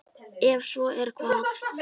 Ef svo er, hvaða?